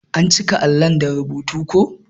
An cika allo da rubutu ko.